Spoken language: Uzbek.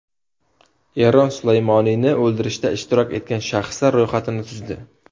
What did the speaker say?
Eron Sulaymoniyni o‘ldirishda ishtirok etgan shaxslar ro‘yxatini tuzdi.